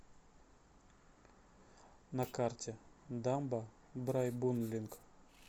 на карте дамба брайбунлинг